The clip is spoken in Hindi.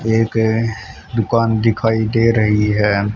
यह एक दुकान दिखाई दे रही है।